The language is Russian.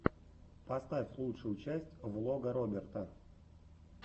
поставь лучшую часть влога роберта